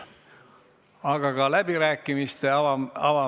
Aga ka läbirääkimiste avamiseks ei näi soovi olevat.